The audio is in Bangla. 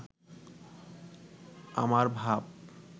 আমার ভাব